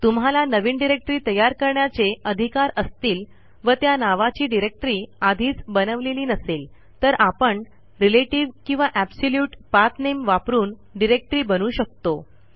तुम्हाला नवीन डिरेक्टरी तयार करण्याचे अधिकार असतील व त्या नावाची डिरेक्टरी आधीच बनवलेली नसेल तर आपण रिलेटीव्ह किंवा ऍबसोल्युट पाथ नेम वापरून डिरेक्टरी बनवू शकतो